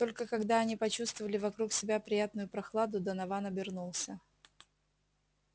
только когда они почувствовали вокруг себя приятную прохладу донован обернулся